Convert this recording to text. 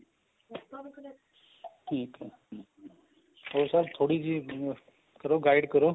ਠੀਕ ਏ ਹੋਰ sir ਥੋੜੀ ਜੀ ਹਿੰਮਤ ਕਰੋ guide ਕਰੋ